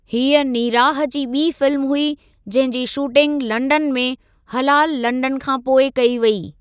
हीअ नीराह जी ॿी फ़िल्म हुई जंहिं जी शूटिंग लंडन में हलाल लंडन खां पोइ कई वेई।